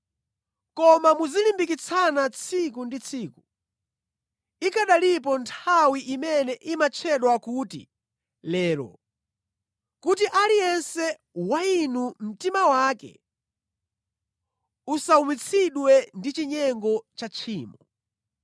Koma muzilimbikitsana tsiku ndi tsiku, ikanalipo nthawi imene imatchedwa kuti “Lero” kuti aliyense wa inu mtima wake usawumitsidwe ndi chinyengo cha tchimo.